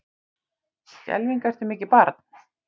Skelfing ertu mikið barn.